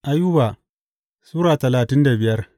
Ayuba Sura talatin da biyar